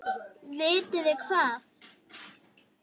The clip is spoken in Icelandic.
Vitið þið hvað.